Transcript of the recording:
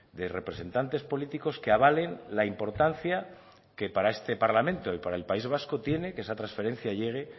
de representantes políticos que avalen la importancia que para este parlamento y para el país vasco tiene que esa transferencia llegue